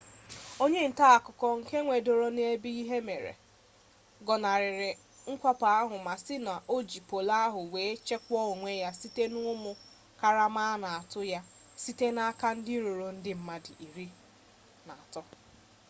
onye nta akụkọ nke a nwụdoro n'ebe ihe mere gọnarịrị mwakpọ ahụ ma sị na o ji polu ahụ were chekwaa onwe ya site na ụmụ karama a na-atụ ya site n'aka ndị ruru ndị mmadụ iri na atọ